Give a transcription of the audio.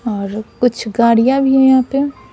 कुछ गाड़ियां भी है यहां पे--